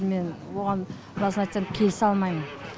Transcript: мен оған расын айтсам келісе алмайм